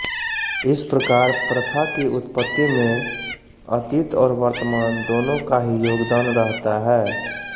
इस प्रकार प्रथा की उत्पत्ति में अतीत और वर्तमान दोनों का ही योगदान रहता है